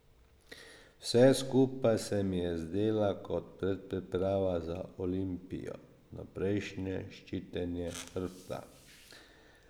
Vse skupaj se mi je zdela kot predpriprava za Olimpijo, vnaprejšnje ščitenje hrbta.